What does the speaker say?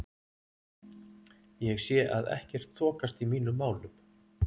Ég sé að ekkert þokast í mínum málum.